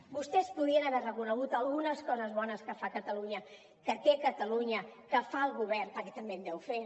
vostès podrien haver reconegut algunes coses bones que fa catalunya que té catalunya que fa el govern perquè també en deu fer